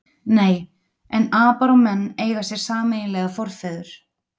Nei, en apar og menn eiga sér sameiginlega forfeður.